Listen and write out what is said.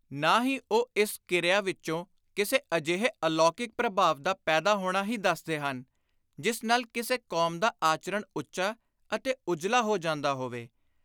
ਨਾ ਹੀ ਉਹ ਇਸ ਕਿਰਿਆ ਵਿਚੋਂ ਕਿਸੇ ਅਜਿਹੇ ਅਲੌਕਿਕ ਪ੍ਰਭਾਵ ਦਾ ਪੈਦਾ ਹੋਣਾ ਹੀ ਦੱਸਦੇ ਹਨ, ਜਿਸ ਨਾਲ ਕਿਸੇ ਕੌਮ ਦਾ ਆਚਰਣ ਉੱਚਾ ਅਤੇ ਉਜਲਾ ਹੋ ਜਾਂਦਾ ਹੋਵੇ।